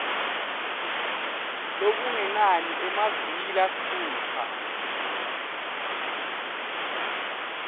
lokungenani emaviki lasitfupha